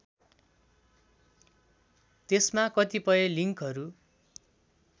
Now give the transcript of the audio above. त्यसमा कतिपय लिङ्कहरू